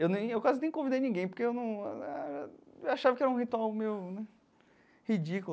Eu nem eu quase nem convidei ninguém, porque eu num... Eu achava que era um ritual meio ridículo.